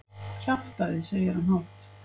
Kjaftæði, segir hann hátt.